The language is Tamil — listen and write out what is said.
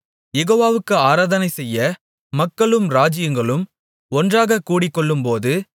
யெகோவாவுக்கு ஆராதனைசெய்ய மக்களும் ராஜ்ஜியங்களும் ஒன்றாகக் கூடிக்கொள்ளும்போது